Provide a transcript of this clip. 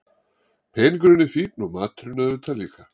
Peningurinn er fínn og maturinn auðvitað líka.